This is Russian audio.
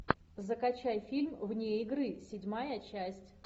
закачай фильм вне игры седьмая часть